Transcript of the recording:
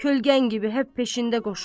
Kölgən kimi hep peşində qoşdum.